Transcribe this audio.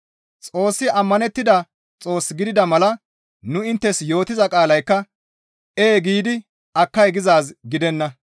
Xoossi ammanettida Xoos gidida mala nu inttes yootiza qaalaykka, «Ee» giidi «Akkay» gizaaz gidenna.